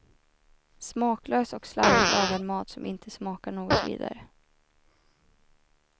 Smaklös och slarvigt lagad mat som inte smakar något vidare.